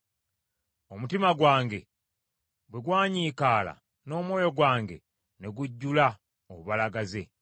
Omutima gwange bwe gwanyiikaala, n’omwoyo gwange ne gujjula obubalagaze,